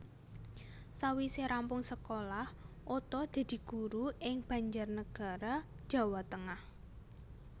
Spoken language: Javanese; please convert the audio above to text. Sawise rampung sekolah Oto dadi guru ing Banjarnegara Jawa Tengah